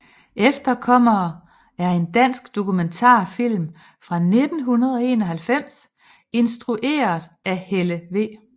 Efterkommere er en dansk dokumentarfilm fra 1991 instrueret af Helle V